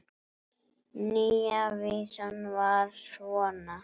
Nýja vísan var svona